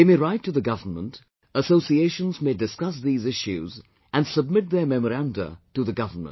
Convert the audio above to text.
They may write to the government; associations may discuss these issues and submit their memoranda to the government